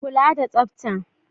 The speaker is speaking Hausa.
Kula da Tsafta.